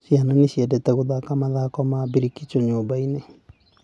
Ciana nĩ ciendete gũthaka mathako ma mbrikicho nyũmba-inĩ.